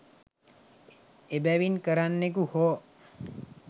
එබැවින් කරන්නෙකු හෝ